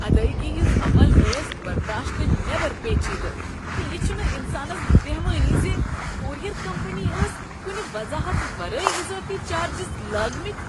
ادایگی ہٕنز عمل ٲس برداشتہٕ نیبر پیچیدٕ، تہٕ یہ چھنہٕ انسانس بہوٲنی ز کوریر کمپنی ٲسۍ کنہٕ وضاحت ورٲے اضافی چارجز لٲگۍمٕتۍ۔